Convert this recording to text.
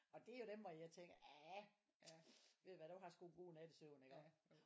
Og det jo dem hvor jeg tænker aah ved du hvad du har sgu en god nattesøvn iggå